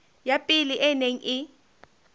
ya pele e neng e